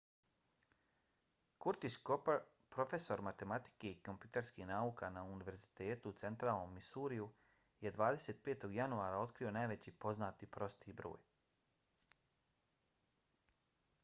curtis cooper profesor matematike i kompjuterskih nauka na univerzitetu u centralnom missouriju je 25. januara otkrio najveći poznati prosti broj